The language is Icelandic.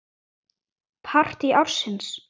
Partí ársins?